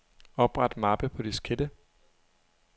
Opret mappe på diskette.